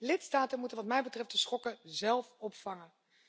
Lidstaten moeten wat mij betreft de schokken zelf opvangen.